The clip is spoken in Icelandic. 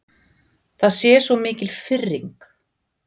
Það sé svo mikil firring.